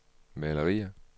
malerier